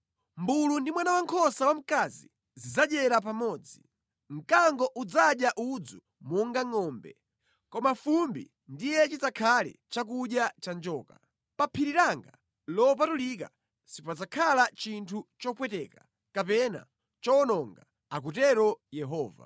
Mʼmbulu ndi mwana wankhosa wamkazi zidzadyera pamodzi. Mkango udzadya udzu monga ngʼombe, koma fumbi ndiye chidzakhale chakudya cha njoka. Pa phiri langa lopatulika sipadzakhala chinthu chopweteka kapena chowononga,” akutero Yehova.